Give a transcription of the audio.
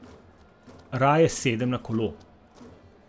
Raje sedem na kolo.